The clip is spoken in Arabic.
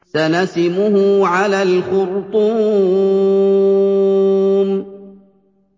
سَنَسِمُهُ عَلَى الْخُرْطُومِ